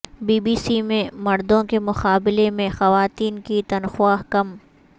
be B C میں مردوں کے مقابلے میں خواتین کی تنخواہ کم